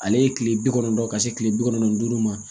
Ale ye kile bi kɔnɔntɔn ka se kile bi kɔnɔntɔn ni duuru ma